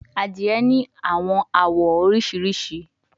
Adire ni awọn awọ oriṣiriṣi